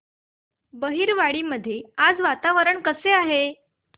बहिरवाडी मध्ये आज वातावरण कसे आहे